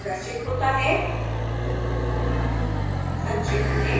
एक प्लॉट प्रदर्शित होता है